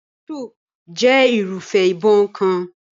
Pistol jẹ́ irúfẹ́ ìbọn kan.